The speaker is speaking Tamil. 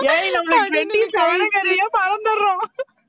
ஏய் நம்மளுக்கு twenty-seven ங்கிறதையே மறந்துடுறோம்